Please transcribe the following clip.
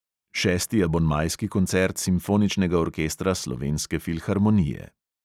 Šesti abonmajski koncert simfoničnega orkestra slovenske filharmonije.